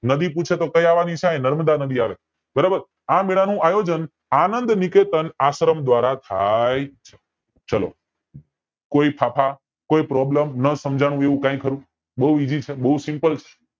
નદી પૂછે તો કય અવની છે અયા નરમ નદી આવે આ મેલા નું આયોજન આનંદ નિકેતન આશ્રમ દ્વારા થાય છે ચાલો કય ફાંફા કોઈ problem નો સાંજનું હોય એવું કાય ખરું બોવ essy બોવ simple છે